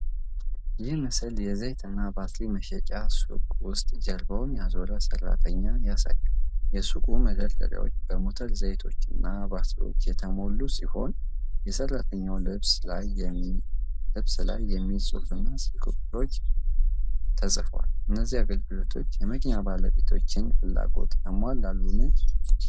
ይህ ምስል የዘይትና ባትሪ መሸጫ ሱቅ ውስጥ ጀርባውን ያዞረ ሰራተኛን ያሳያል። የሱቁ መደርደሪያዎች በሞተር ዘይቶችና ባትሪዎች የተሞሉ ሲሆን፣ የሰራተኛው ልብስ ላይ የሚል ጽሑፍ እና ስልክ ቁጥሮች ተጽፈዋል። እነዚህ አገልግሎቶች የመኪና ባለቤቶችን ፍላጎት ያሟላሉን?